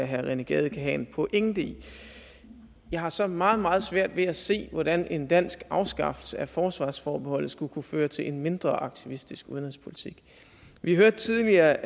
herre rené gade kan have en pointe i jeg har så meget meget svært ved at se hvordan en dansk afskaffelse af forsvarsforbeholdet skulle kunne føre til en mindre aktivistisk udenrigspolitik vi hørte tidligere